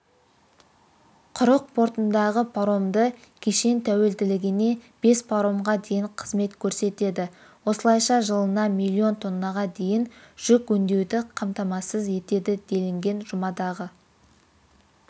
құрық портындағы паромды кешен тәулігіне бес паромға дейін қызмет көрсетеді осылайша жылына миллион тоннаға дейін жүк өңдеуді қамтамасыз етеді делінген жұмадағы